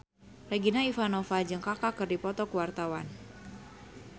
Regina Ivanova jeung Kaka keur dipoto ku wartawan